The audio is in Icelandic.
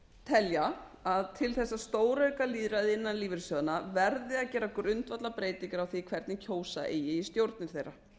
telja að til þess að stórauka lýðræði innan lífeyrissjóðanna verði að gera grundvallarbreytingar á því hvernig kjósa eigi í stjórnir þeirra